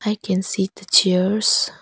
I can see the chairs.